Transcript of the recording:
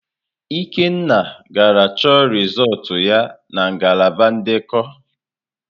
Ikenna gara chọ rịzọlt ya na ngalaba ndekọ.